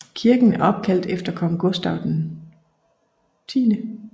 Kirken er opkaldt efter kong Gustaf V